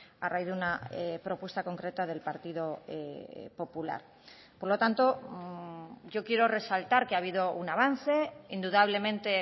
a raíz de una propuesta concreta del partido popular por lo tanto yo quiero resaltar que ha habido un avance indudablemente